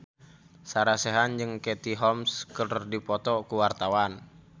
Sarah Sechan jeung Katie Holmes keur dipoto ku wartawan